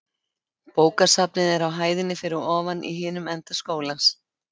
Bókasafnið er á hæðinni fyrir ofan í hinum enda skólans.